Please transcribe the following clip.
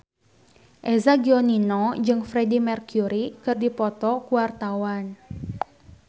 Eza Gionino jeung Freedie Mercury keur dipoto ku wartawan